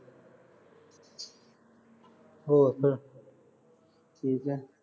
ਹੋਰ ਦੱਸ। ਠੀਕ ਐ।